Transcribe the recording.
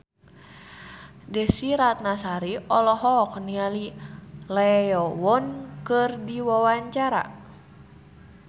Desy Ratnasari olohok ningali Lee Yo Won keur diwawancara